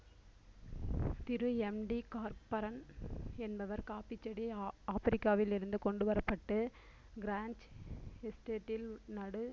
திரு MD Cockburn என்பவர் coffee செடி ஆப்பிரிக்காவில் இருந்து கொண்டு வரப்பட்டு க்ரான்ஜ் எஸ்டேட்டில் நடு~